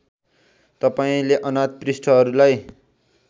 तपाईँले अनाथ पृष्ठहरूलाई